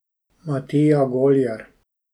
Matija Goljar.